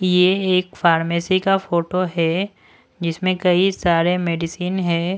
ये एक फार्मेसी का फोटो है जिसमें कई सारे मेडिसिन है।